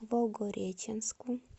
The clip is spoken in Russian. волгореченску